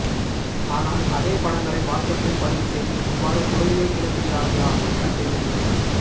ஆனால் அதே படங்களை வாட்சப்பில் பதிவு செய்து இவ்வாறுய் புரளியை கிளப்புகிறார்களா என தெரியவில்லை